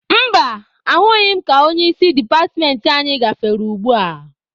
Mba, ahụghị m ka onye isi departmentị anyị gafere ugbua.